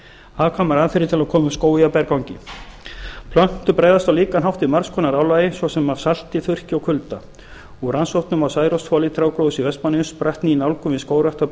hagkvæmar aðferðir til að koma upp skógi á berangri plöntur bregðast á líkan hátt við margs konar álagi svo sem af salti þurrki og kulda úr rannsóknunum á særoksþoli trjágróðurs í vestmannaeyjum spratt ný nálgun við skógrækt á